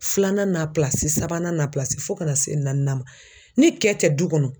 Filanan n'a sabanan n'a fo ka na se naaninan ma, ni kɛ tɛ du kɔnɔ